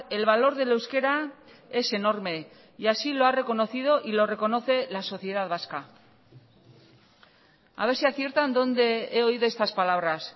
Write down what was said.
el valor del euskera es enorme y así lo ha reconocido y lo reconoce la sociedad vasca a ver si aciertan dónde he oído estas palabras